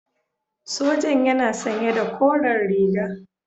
Sojan yana sanye da koren riga.